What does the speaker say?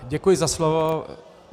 Děkuji za slovo.